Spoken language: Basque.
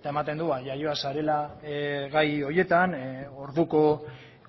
eta ematen du jaioa zarela gai horietan orduko